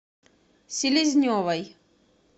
селезневой